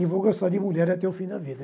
E vou gostar de mulher até o fim da vida.